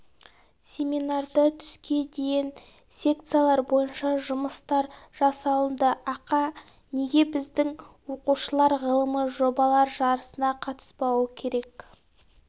семинарда түске дейін секциялар бойынша жұмыстар жасалынды ақа неге біздің оқушылар ғылыми жобалар жарысына қатыспауы керек